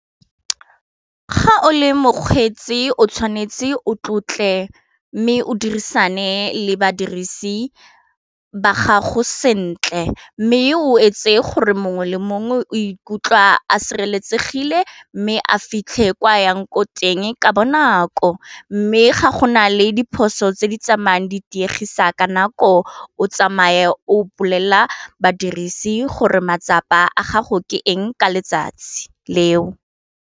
Ga o le mokgwetsi o tshwanetse o tlotle mme o dirisane le badirisi ba gago sentle, mme o etse gore mongwe le mongwe o ikutlwa a sireletsegile mme a fitlhe kwa yang ko teng ka bonako mme ga go na le diphoso tse di tsamayang ditiego ka nako o tsamaye o mpolelela badirisi gore matsapa a gago ke eng ka letsatsi leo.